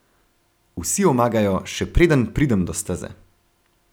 Vsi omagajo, še preden pridem do steze.